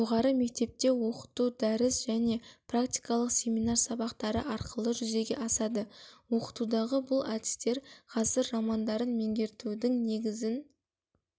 жоғары мектепте оқыту дәріс және практикалық семинар сабақтары арқылы жүзеге асады оқытудағы бұл әдістер ғасыр романдарын меңгертудің негізін